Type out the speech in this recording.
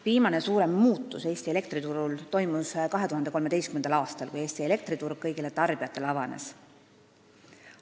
Viimane suurem muutus Eesti elektriturul toimus 2013. aastal, kui Eesti elektriturg kõigile tarbijatele avanes.